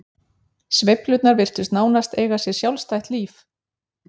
Sveiflurnar virtust nánast eiga sér sjálfstætt líf.